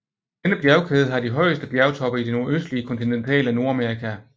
Denne bjergkæde har de højeste bjergtoppe i det nordøstlige kontinentale Nordamerika